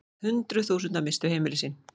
Hundruð þúsunda misstu heimili sín.